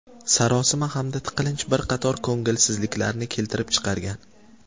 Sarosima hamda tiqilinch bir qator ko‘ngilsizliklarni keltirib chiqargan.